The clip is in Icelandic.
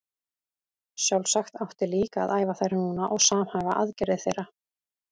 Sjálfsagt átti líka að æfa þær núna og samhæfa aðgerðir þeirra.